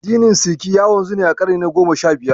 Addinin Sikhi ya wanzu ne a ƙarni na goma sha biyar.